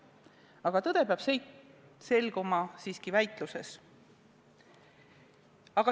Aga tõde peab selguma siiski väitluses.